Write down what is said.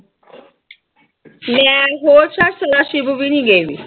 ਮੈਂ ਹੋਰ ਸਿਵ ਵੀ ਨੀ ਗਏ